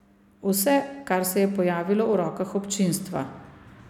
Vse, kar se je pojavilo v rokah občinstva.